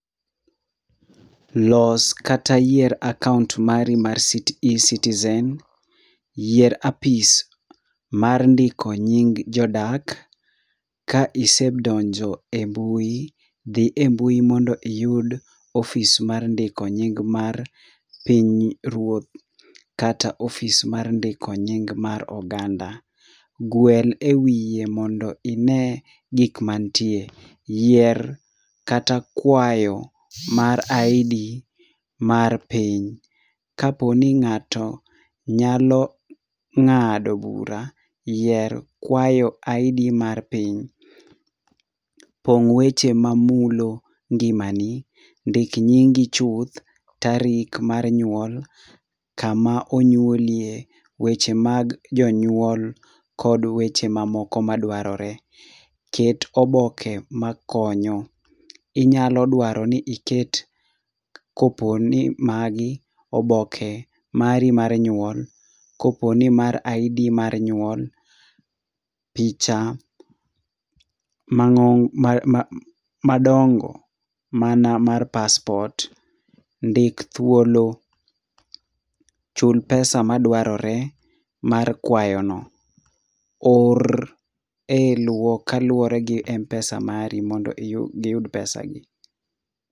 Los kata yier akaont mari mar citi eCitizen. Yier apis mar ndiko nying jodak ka isedonjo e mbui, dhi e mbui mondo iyud ofis mar ndiko nying mar piny ruoth kata ofis mar ndiko nying mar oganda. Gwel e wiye mondo ine gik mantie. Yier kata kwayo mar ID mar piny. Kaponi ng'ato nyalo ng'ado bura, yier kwayo ID mar piny. Pong' weche mamulo ngimani. Ndik nyingi chuth, tarik mar nyuol, kama onyuolie, weche mag jonyuol kod weche mamoko madwarore. Ket oboke makonyo. Inyalo dwaro ni iket koponi magi oboke mari mar nyuol. Koponi mar ID mar nyuol, picha mang'o ma madongo mana mar paspot, ndik thuolo, chul pesa madwarore mar kwayono. Or e kaluwore gi m-pesa mari mondo giyud pesa gi.